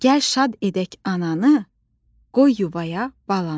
Gəl şad edək ananı, qoy yuvaya balanı.